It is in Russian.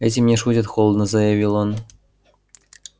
этим не шутят холодно заявил он